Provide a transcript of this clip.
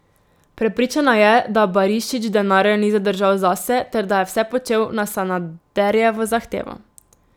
Prepričana je, da Barišić denarja ni zadržal zase ter da je vse počel na Sanaderjevo zahtevo.